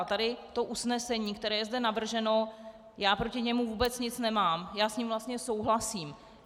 A tady to usnesení, které je zde navrženo, já proti němu vůbec nic nemám, já s ním vlastně souhlasím.